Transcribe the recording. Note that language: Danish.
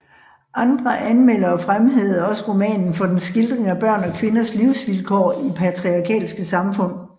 Andre anmeldere fremhævede også romanen for dens skildring af børn og kvinders livsvilkår i patriarkalske samfund